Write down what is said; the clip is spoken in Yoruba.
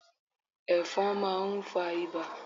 Ẹfọ̀n máà ń fa ibà